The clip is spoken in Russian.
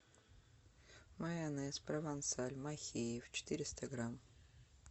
майонез провансаль махеев четыреста грамм